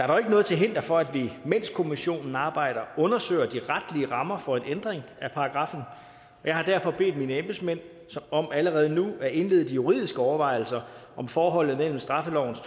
dog ikke noget til hinder for at vi mens kommissionen arbejder undersøger de retlige rammer for en ændring af paragraffen jeg har derfor bedt mine embedsmænd om allerede nu at indlede de juridiske overvejelser om forholdet mellem straffelovens